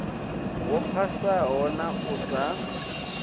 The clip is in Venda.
wo phasaho na u sa